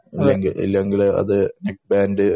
ഇല്ലെങ്കിൽ അത് നെക്‌ബാൻഡ്‌